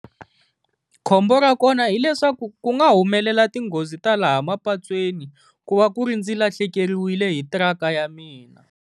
Khombo ra kona hileswaku ku nga humelela tinghozi ta laha mapatwini, ku va ku ri ndzi lahlekeriwile hi tiraka ya mina.